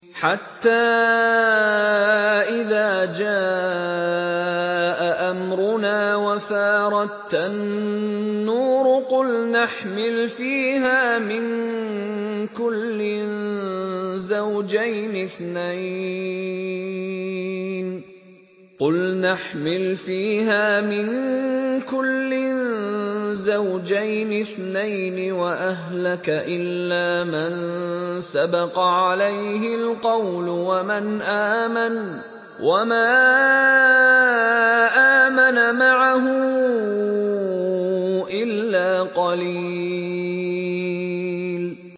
حَتَّىٰ إِذَا جَاءَ أَمْرُنَا وَفَارَ التَّنُّورُ قُلْنَا احْمِلْ فِيهَا مِن كُلٍّ زَوْجَيْنِ اثْنَيْنِ وَأَهْلَكَ إِلَّا مَن سَبَقَ عَلَيْهِ الْقَوْلُ وَمَنْ آمَنَ ۚ وَمَا آمَنَ مَعَهُ إِلَّا قَلِيلٌ